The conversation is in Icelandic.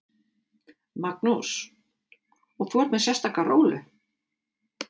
Magnús: Og þú ert með sérstaka rólu?